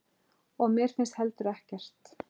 Og mér finnst heldur ekkert.